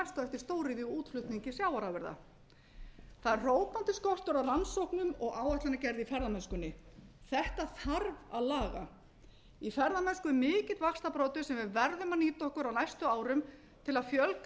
næst eftir stóriðjuútflutningi sjávarafurða það er hrópandi kostur á rannsóknum og áætlanagerð í ferðamennskunni þetta þarf að laga í ferðamennsku er mikill vaxtarbroddur sem við verðum að nýta okkur á næstum árum til að fjölga